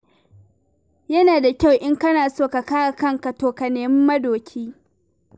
Yana da kyau in kana so ka kare kanka, to ka nemi madoki.